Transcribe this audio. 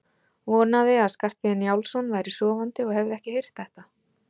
Vonaði að Skarphéðinn Njálsson væri sofandi og hefði ekki heyrt þetta.